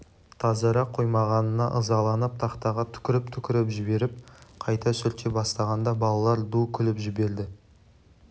тазара қоймағанына ызаланып тақтаға түкіріп-түкіріп жіберіп қайта сүрте бастағанда балалар ду күліп жіберді